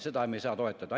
Seda me ei saa toetada.